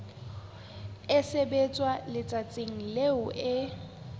e sebetswa letsatsing leo e